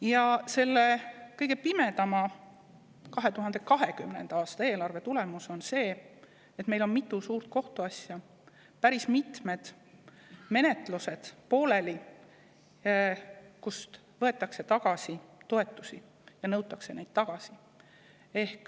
Ja selle kõige pimedama, 2020. aasta eelarve tõttu on meil mitu suurt kohtuasja, pooleli on päris mitmed menetlused, kus võetakse tagasi toetusi, nõutakse neid tagasi.